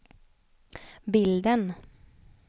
bilden